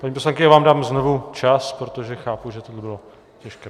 Paní poslankyně, já vám dám znovu čas, protože chápu, že tohle bylo těžké.